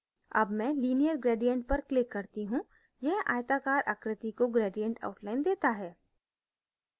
अब मैं linear gradient पर click करती हूँ यह आयताकार आकृति को gradient outline देता है